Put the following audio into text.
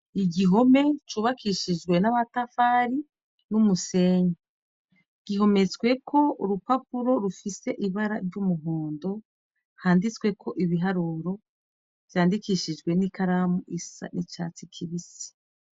Igihome cubakishijwe n'abatafari n'umusenyi ,gihometsweko urupapuro rufise ibara ry'umuhondo, handitsweko ibiharuro ,vyandikishijwe n'ikaramu isa n'icatsi kibisi.